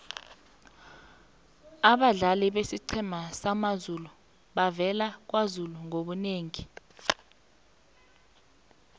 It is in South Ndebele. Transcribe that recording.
abadlali besiqhema samazulu bavela kwazulu ngobunengi